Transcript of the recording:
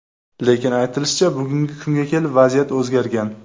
Lekin aytishlaricha, bugungi kunga kelib vaziyat o‘zgargan.